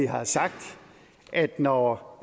vi har sagt at når